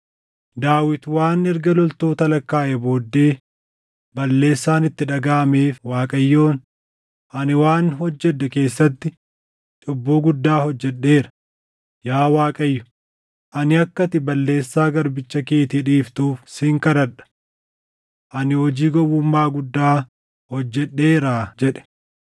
Daawit waan erga loltoota lakkaaʼee booddee balleessaan itti dhagaʼameef Waaqayyoon, “Ani waan hojjedhe keessatti cubbuu guddaa hojjedheera. Yaa Waaqayyo, ani akka ati balleessaa garbicha keetii dhiiftuuf sin kadhadha. Ani hojii gowwummaa guddaa hojjedheeraa” jedhe.